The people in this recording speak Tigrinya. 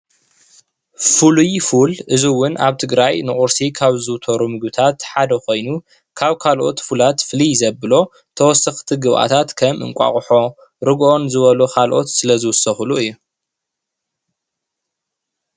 ፉሉይ ፉል እንትኸውን ሰባት ንቁርሲ ይጥቀምሉ፣ ከም ጠስምን እንቋቅሖን ይውሰኽዎ።